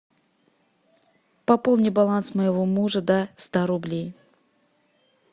пополни баланс моего мужа до ста рублей